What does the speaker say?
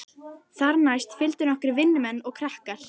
Þar næst fylgdu nokkrir vinnumenn og krakkar.